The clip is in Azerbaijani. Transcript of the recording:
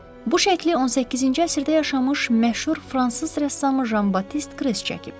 Bu şəkli 18-ci əsrdə yaşamış məşhur fransız rəssamı Jan Batist Kres çəkib.